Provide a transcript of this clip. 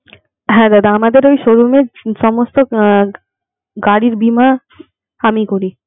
হ্যা দাদা আমাদের ওই showroom এর সমস্ত গাড়ির বীমা আমিই করি.